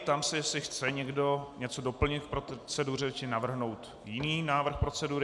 Ptám se, jestli chce někdo něco doplnit k proceduře či navrhnout jiný návrh procedury.